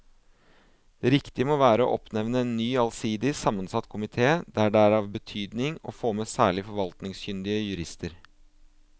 Det riktige må være å oppnevne en ny allsidig sammensatt komite der det er av betydning å få med særlig forvaltningskyndige jurister.